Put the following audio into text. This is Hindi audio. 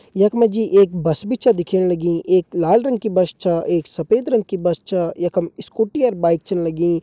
यख मा जी एक बस भी छ दिखेन लगीं एक लाल रंग की बस छ एक सफेद रंग की बस छ यखम स्कूटी और बाइक छ लगीं।